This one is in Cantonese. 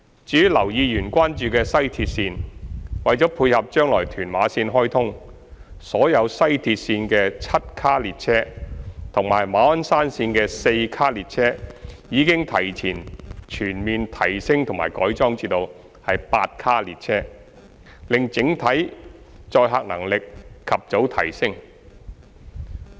至於劉議員關注的西鐵綫，為配合將來屯馬綫開通，所有西鐵綫的7卡列車及馬鞍山綫的4卡列車已提前全面提升及改裝至8卡列車，令整體載客能力及早提升。